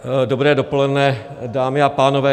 Dobré dopoledne, dámy a pánové.